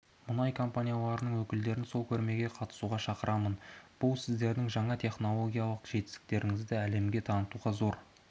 мұнай компанияларының өкілдерін сол көрмеге қатысуға шақырамын бұл сіздердің жаңа технологиялық жетістіктеріңізді әлемге танытуға зор